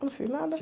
Não fiz nada.